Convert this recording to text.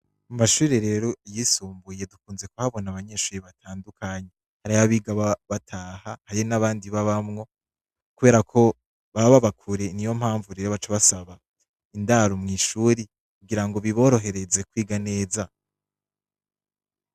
Mu mashure rero yisumbuye, dukunze kuhabona abanyeshure batandukanye. Hariho abiga bataha, hari n'abandi babamwo, kubera ko baba baba kure niyo mpamvu baca basaba indaro mw'ishure, kugira ngo biborohereze kwiga neza.